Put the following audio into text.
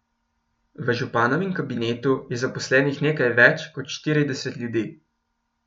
V županovem kabinetu je zaposlenih nekaj več kot štirideset ljudi.